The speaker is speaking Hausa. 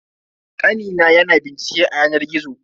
Kani na ya na bincike a yanar gizo.